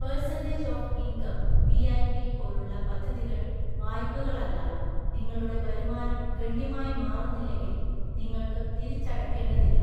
Percentage of income (പിഐപി) പോലുള്ള പദ്ധതികൾ വായ്പകളല്ല, നിങ്ങളുടെ വരുമാനം ഗണ്യമായി മാറുന്നില്ലെങ്കിൽ നിങ്ങൾക്ക് തിരിച്ചടയ്ക്കേണ്ടതില്ല.